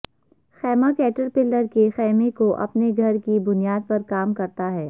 خیمہ کیٹرپلر کے خیمے کو اپنے گھر کی بنیاد پر کام کرتا ہے